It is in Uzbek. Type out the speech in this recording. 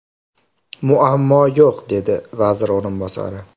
Muammo yo‘q”, degan vazir o‘rinbosari.